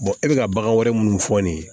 e bɛka ka bagan wɛrɛ minnu fɔ nin ye